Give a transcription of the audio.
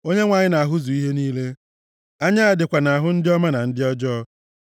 Onyenwe anyị na-ahụzu ihe niile, anya ya dịkwa nʼahụ ndị ọma na ndị ọjọọ.